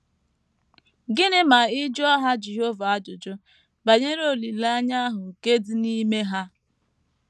Gịnị ma ị jụọ Ha Jehova ajụjụ ‘ banyere olileanya ahụ nke dị n’ime ha ’?